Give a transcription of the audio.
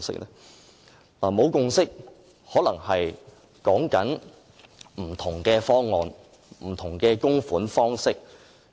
所謂沒有共識，可能指有不同的方案和不同的供款方式。